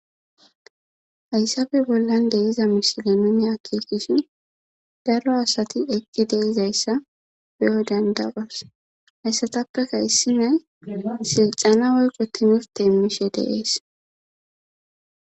haysappe bollan deiza mishile nume akikishi daro asati eqqi deizayssa beyo dandawas hayssatappeka issinay silxana woyqo tinifte immishe deees